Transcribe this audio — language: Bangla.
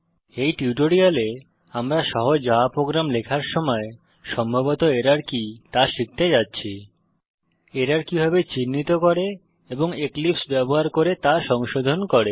এই টিউটোরিয়ালে আমরা সহজ জাভা প্রোগ্রাম লেখার সময় সম্ভবত এরর কি তা শিখতে যাচ্ছি এরর কিভাবে চিহ্নিত করে এবং এক্লিপসে ব্যবহার করে তা সংশোধন করে